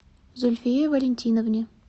зульфие валентиновне